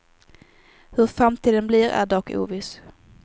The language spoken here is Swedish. Hur framtiden blir är dock oviss.